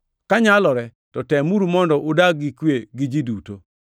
Ka nyalore, to temuru mondo udag gi kwe gi ji duto.